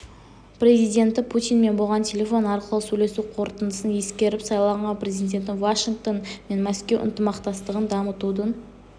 президенті путинмен болған телефон арқылы сөйлесу қорытындысын ескеріп сайланған президенті вашингтон мен мәскеу ынтымақтастығын дамытудың